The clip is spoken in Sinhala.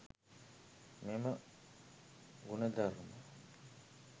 මෙම ගුණධර්ම